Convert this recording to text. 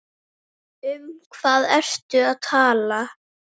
Um hvað ertu að tala?